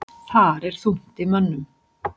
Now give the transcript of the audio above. Þar er þungt í mönnum.